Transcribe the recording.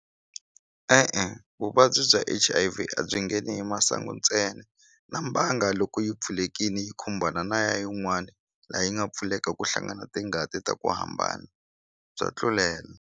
E-e vuvabyi bya H_I_V a byi ngheni hi masangu ntsena na mbanga loko yi pfulekini yi khumbana na ya yin'wani la yi nga pfuleka ku hlangana tingati ta ku hambana bya tlulela.